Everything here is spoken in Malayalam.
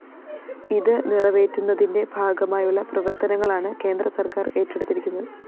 ഇത് നിറവേറ്റുന്നതിന്റെ ഭാഗമായുള്ള പ്രവര്‍ത്തനങ്ങളാണ് കേന്ദ്രസര്‍ക്കാര്‍ ഏറ്റെടുത്തിരിക്കുന്നത്